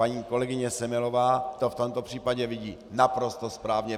Paní kolegyně Semelová to v tomto případě vidí naprosto správně.